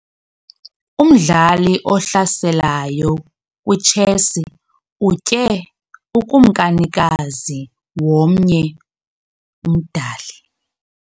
Umdlali ohlaselayo kwitshesi utye ukumkanikazi womnye umdali.